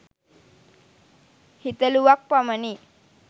හිතලුවක් පමණි